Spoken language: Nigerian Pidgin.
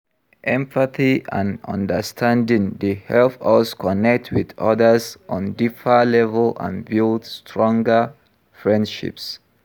Empathy and understanding dey help us connect with odas on deeper level and build stronger friendships.